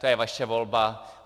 To je vaše volba.